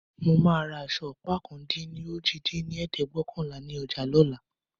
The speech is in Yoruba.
Mo máa ra aṣọ ọ̀pá ọ̀kan-dín-ní-ojì dín ní ẹ̀ẹ́dẹ́gbẹ́ọ̀kànlá ni ọjà lóla